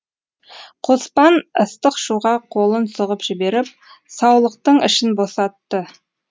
қоспан ыстық шуға қолын сұғып жіберіп саулықтың ішін босатты